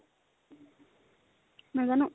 নাজানো